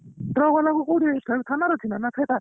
Truck ବାଲା କୁ କୋଉଠି ଥାନା ରେ ରଖିଲା ନା